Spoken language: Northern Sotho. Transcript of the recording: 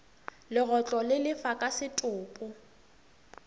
legotlo le lefa ka setopo